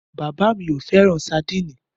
Bàbá mi ò fẹ́ràn sadínì.